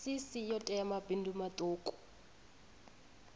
cc yo tea mabindu maṱuku